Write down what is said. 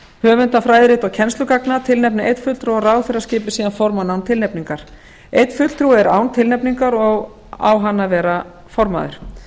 höfunda fræðirita og kennslugagna tilnefni einn fulltrúa og ráðherra skipi síðan formann án tilnefningar einn fulltrúi er án tilnefningar og á hann að vera formaður